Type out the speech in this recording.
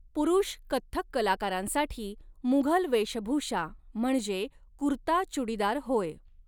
पुरुष कथ्थक कलाकारांसाठी मुघल वेशभूषा म्हणजे कुर्ता चुडीदार होय.